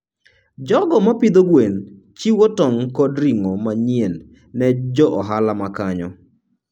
jogo ma pidho gwen chiwo tong' kod ring'o manyien ne jo ohala ma kanyo.